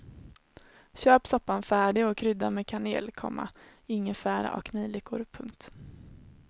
Köp soppan färdig och krydda med kanel, komma ingefära och nejlikor. punkt